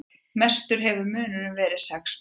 Mestur hefur munurinn verið sex mörk